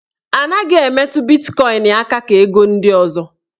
A naghị emetụ bitkọin aka ka ego ndị ọzọ.